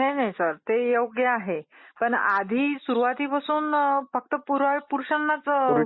ते योग्य आहे. पण आधी सुरुवातीपासून फक्त पुरुषांनाच